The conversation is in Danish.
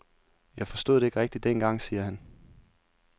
Jeg forstod det ikke rigtig dengang, siger han.